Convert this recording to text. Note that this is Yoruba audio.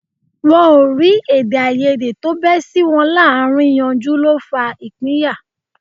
Wọ́n ó rí èdèàìyedè tó bẹ́ sí wọn láàárín yanjú ló fa ìpínyà